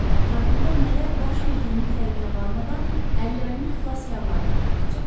Ətrafında nələr baş verdiyinin fərqinə varmadan əllərini xilaskarlarına tərəf uzatdı.